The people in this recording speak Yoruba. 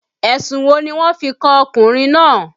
Ẹ̀sùn wo ni wọ́n fi kan ọkùnrin náà